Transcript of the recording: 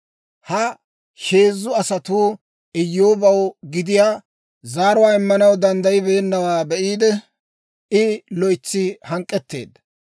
Ha heezzu asatuu Iyyoobaw gidiyaa zaaruwaa immanaw danddayibeennawaa be'iide, I loytsi hank'k'etteedda.